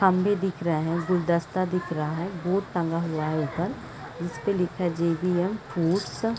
खंभे दिख रहे है गुलदस्ता दिख रहा है बोर्ड टंगा हुआ है ऊपर जिस पे लिखा है जे.बी.ऍम. पुश --